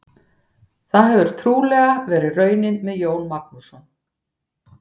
Það hefur trúlega verið raunin með Jón Magnússon.